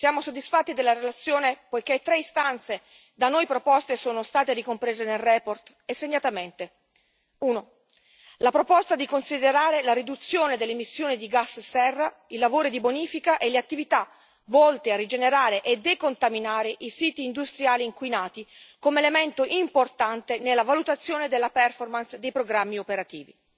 Siamo soddisfatti della relazione poiché tre istanze da noi proposte sono state ricomprese in essa, e segnatamente uno, la proposta di considerare la riduzione delle emissioni di gas serra, i lavori di bonifica e le attività volte a rigenerare e decontaminare i siti industriali inquinati come elemento importante nella valutazione della performance dei programmi operativi.